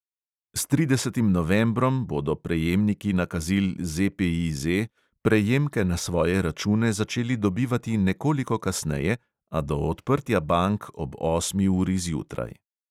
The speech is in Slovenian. S tridesetim novembrom bodo prejemniki nakazil ZPEZ prejemke na svoje račune začeli dobivati nekoliko kasneje, a do odprtja bank ob osmi uri zjutraj.